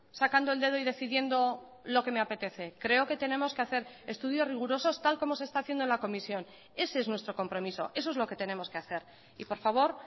sacando el dedo y decidiendo lo que me apetece creo que tenemos que hacer estudios rigurosos tal como se está haciendo en la comisión ese es nuestro compromiso eso es lo que tenemos que hacer y por favor